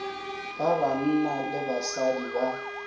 ba banna le basadi ba